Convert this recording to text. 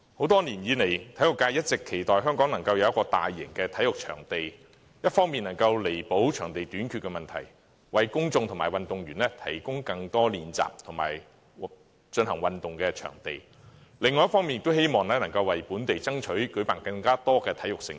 多年來，體育界一直期望香港能夠有一個大型的體育場地，一方面能夠彌補場地短缺的問題，為公眾及運動員提供更多練習及進行運動的地方，另一方面亦希望能夠為本地爭取舉辦更多體育盛事。